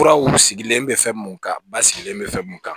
Furaw sigilen bɛ fɛn mun kan ba sigilen bɛ fɛn mun kan